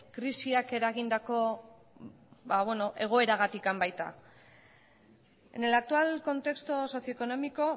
krisiak eragindako egoeragatik baita en el actual contexto socio económico